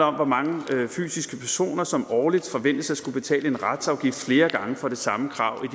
om hvor mange fysiske personer som årligt forventes at skulle betale en retsafgift flere gange for det samme krav i